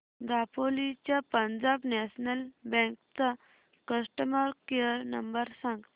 दापोली च्या Punjab national bank चा customer care number सांग